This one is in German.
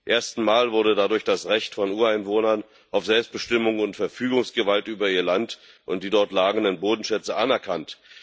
Zum ersten Mal wurde dadurch das Recht von Ureinwohnern auf Selbstbestimmung und Verfügungsgewalt über ihr Land und die dort lagernden Bodenschätze anerkannt.